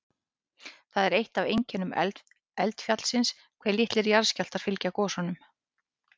Það er eitt af einkennum eldfjallsins hve litlir jarðskjálftar fylgja gosunum.